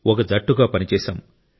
ఒక జట్టుగా పనిచేశాం